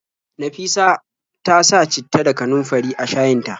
Nafisa ta sa citta da kanunfari a shayin ta.